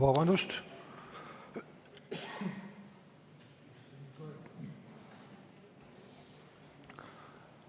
Vabandust!